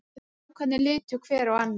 Strákarnir litu hver á annan.